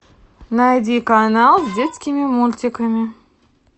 найди канал с детскими мультиками